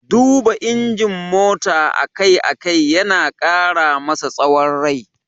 Duba injin mota a kai a kai yana ƙara masa tsawon rai.